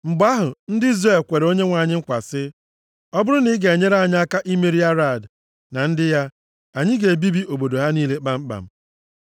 Mgbe ahụ, ndị Izrel kwere Onyenwe anyị nkwa sị, “Ọ bụrụ na ị ga-enyere anyị aka imeri eze Arad na ndị ya, anyị ga-ebibi obodo ha niile kpamkpam.”